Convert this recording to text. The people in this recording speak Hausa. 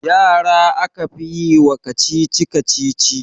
Yara aka fi yi wa kacici-kacici